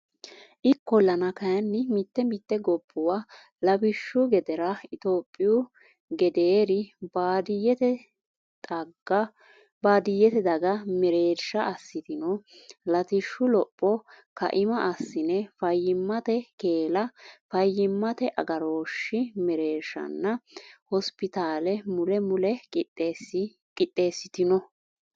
Ikkollana kayinni mite mite gobbuwa lawishshu gedera Itophiyu gedeeri baadiyyete daga mereersha assitino latishshu lopho kaima assine fayyimmate keella fayyimmate agarooshshi mereershanna hosipitaale mule mule qixxeessitino.